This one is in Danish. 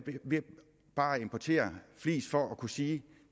ved bare at importere flis for at kunne sige